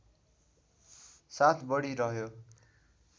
साथ बढी रह्यो